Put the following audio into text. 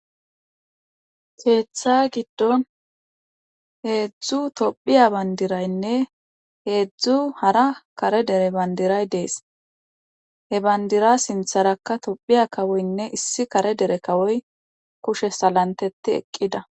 keeththa giddon heedzdzu tophiya bandiraynne heedzdzu hara kare dere bandiray dees he bandira sintharakka tophiya kawoynne issi kare dere kawoy kushe salantedi eqqida